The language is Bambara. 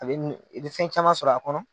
Ale ni bi fɛn caman sɔrɔ a kɔnɔ